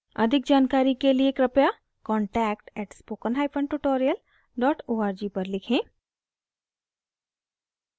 अधिक जानकारी के लिए कृपया contact at spoken hyphen tutorial dot org पर लिखें